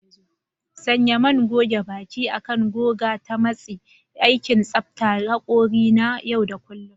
Sanya man goge baki akan goga ta matsi: aikin tsaftar haƙori na yau da kullun.